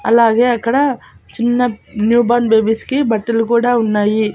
అలాగే అక్కడ చిన్న న్యూ బర్న్ బేబీస్ కి బట్టలు కూడా ఉన్నాయి.